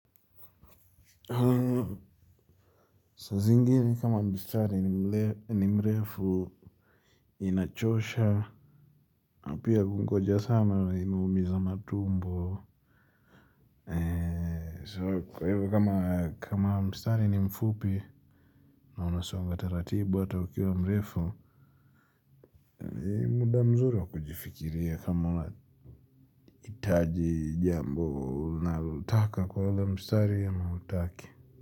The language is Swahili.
Saa zingine kama mstari ni mrefu inachosha. Na pia kungojea sana inaumiza matumbo So kwa hivyo kama mstari ni mfupi na unasonga taratibu hata ukiwa mrefu ni muda mzuri wa kujifikiria kama unahitaji jambo unalolitaka kwa hiyo mstari ama hutaki.